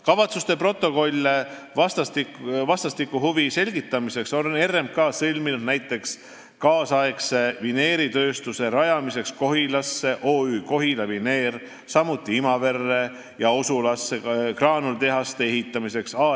Kavatsuste protokolle vastastikuse huvi selgitamiseks on RMK sõlminud näiteks kaasaegse vineeritööstuse rajamiseks Kohilasse , samuti Imaverre ja Osulasse graanulitehaste ehitamiseks .